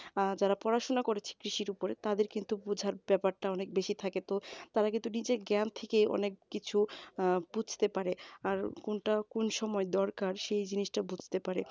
অ্যাঁ যারা পড়াশোনা করেছে কৃষির উপরে তাদের কিন্তু বোঝার ব্যাপারটা অনেক বেশি থাকে তো তারা কিন্তু নিজের জ্ঞান থেকেই অনেক কিছু অ্যাঁ বুঝতে পারে আর কোনটা কোন সময় দরকার সেই জিনিসটা বুঝতে পারে